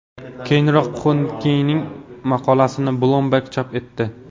Keyinroq Hodinkee’ning maqolasini Bloomberg chop etdi.